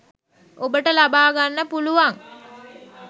ඔබට ලබා ගන්න පුළුවන්.